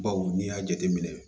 Baw n'i y'a jateminɛ